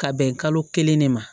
Ka bɛn kalo kelen de ma